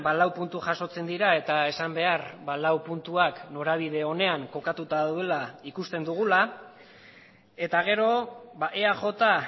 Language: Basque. lau puntu jasotzen dira eta esan behar lau puntuak norabide onean kokatuta daudela ikusten dugula eta gero eaj